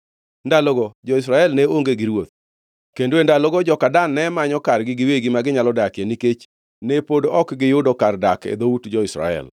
Ndalogo jo-Israel ne onge gi ruoth. Kendo e ndalogo joka Dan ne manyo kargi giwegi ma ginyalo dakie, nikech ne pod ok giyudo kar dak e dhout jo-Israel.